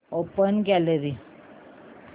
open gallery